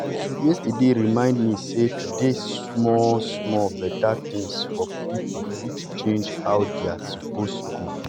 yesterday remind me sey to dey do small-small better things for people fit change how their day suppose go.